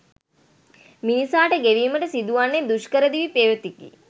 මිනිසාට ගෙවීමට සිදුවන්නේ දුෂ්කර දිවි පෙවෙතකි